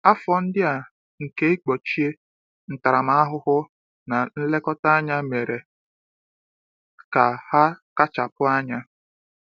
Afọ ndị a nke ịkpọchie, ntaramahụhụ, na nlekọta anya mere ka ha kachapụ anya.